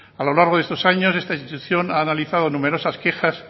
a lo largo de estos años esta institución ha analizado numerosas quejas